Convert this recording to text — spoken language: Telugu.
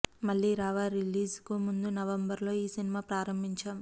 మళ్ళీరావా రిలీజ్ కు ముందు నవంబర్ లో ఈ సినిమా ప్రారంభించాం